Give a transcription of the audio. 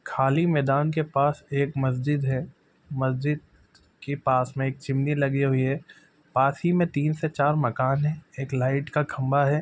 खाली मैदान के पास एक मस्जिद है मस्जिद के पास में एक चिमनी लगी हुई है पास ही में तीन से चार मकान है एक लाइट का खम्भा है।